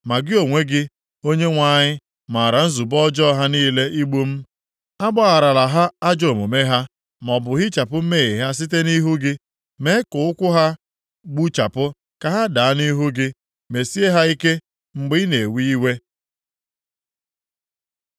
Ma gị onwe gị, Onyenwe anyị, maara nzube ọjọọ ha niile igbu m. Agbagharala ha ajọ omume ha; maọbụ hichapụ mmehie ha site nʼihu gị. Mee ka ụkwụ ha gbuchapụ ka ha daa nʼihu gị; mesie ha ike mgbe ị na-ewe iwe.